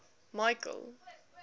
michael